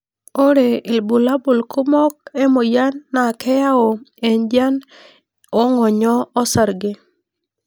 Ore ilbulabul kumok emoyin na keyau enjian ongonyo osarge.